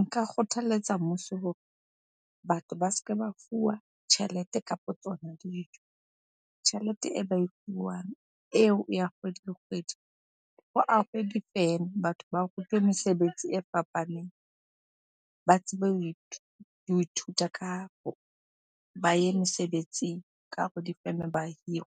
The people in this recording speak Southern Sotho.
Nka kgothaletsa mmuso hore batho ba se ke ba fuwa tjhelete kapo tsona dijo. Tjhelete e ba e fuwang eo ya kgwedi le kgwedi, ho ahwe difeme. Batho ba rutwe mesebetsi e fapaneng, ba tsebe ho ithuta ka, ba ye mesebetsing ka hare ho difeme ba hirwe.